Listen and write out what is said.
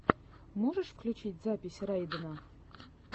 можешь включить запись райдена